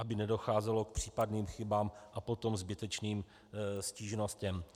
Aby nedocházelo k případným chybám a potom zbytečným stížnostem.